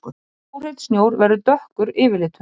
Mjög óhreinn snjór verður dökkur yfirlitum.